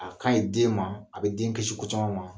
A kaye den ma, a bɛ den kisi ko caman ma